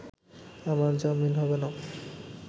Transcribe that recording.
আমার জামিন হবে না